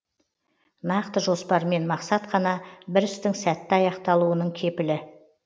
нақты жоспармен мақсат қана бір істің сәтті аяқталуының кепілі